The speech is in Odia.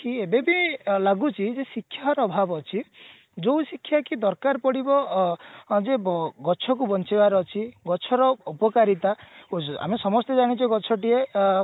ଏବେବି ଲାଗୁଛି ଯେ ଶିକ୍ଷାର ଅଭାବ ଅଛି ଯୋଉ ଶିକ୍ଷା କି ଦରକାର ପଡିବ ଅ ଅ ଯୋଉ ଗଛ କୁ ବଞ୍ଚେଇବାର ଅଛି ଗଛର ଉପକାରିତା ଆମେ ସମସ୍ତେ ଜାଣୁଛେ ଗଛ ଟିଏ ଅ